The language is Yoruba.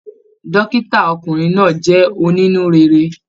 Dókítà ọkùnrin náà jẹ onínú réré.